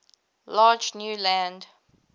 large new land